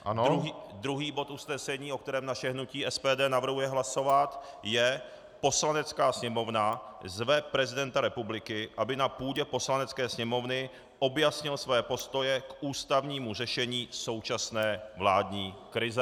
Druhý bod usnesení, o kterém naše hnutí SPD navrhuje hlasovat, je: "Poslanecká sněmovna zve prezidenta republiky, aby na půdě Poslanecké sněmovny objasnil své postoje k ústavnímu řešení současné vládní krize."